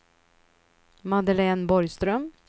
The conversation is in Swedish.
Madeleine Borgström